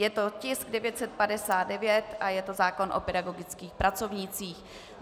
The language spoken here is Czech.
Je to tisk 959 a je to zákon o pedagogických pracovnících.